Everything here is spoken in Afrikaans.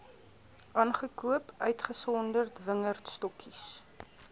aangekoop uitgesonderd wingerdstokkies